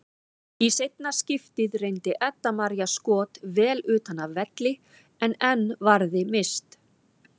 Í seinna skiptið reyndi Edda María skot vel utan af velli en enn varði Mist.